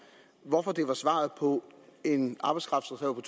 hvorfor det var svaret på en arbejdskraftreserve på